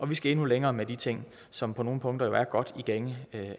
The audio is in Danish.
vi skal endnu længere med de ting som på nogle punkter jo er godt i gænge